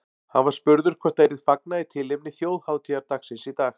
Hann var spurður hvort það yrði fagnað í tilefni þjóðhátíðardagsins í dag.